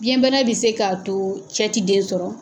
Biɲɛnbana bɛ se k'a to cɛ ti den sɔrɔ.